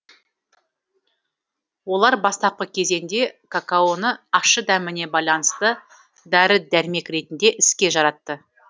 олар бастапқы кезеңде какаоны ащы дәміне байланысты дәрі дәрмек ретінде іске жаратты